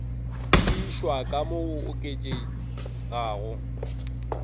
tiišwa ka mo go oketšegago